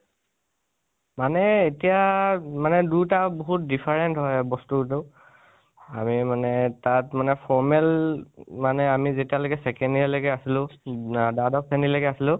মানে এতিয়া, মনে দুইতা বহুত different হয় বস্তুটো। আমি মনে তাত মানে formal মানে আমি যেতিয়া লৈকে second year লৈকে আছিলোঁ, দ্বাদশ শ্ৰণীলৈকে আছিলোঁ